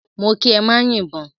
Mó kí ẹ má yìbọn!